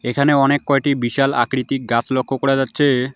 এখানে অনেক কয়টি বিশাল আকৃতির গাস লক্ষ করা যাচ্ছে।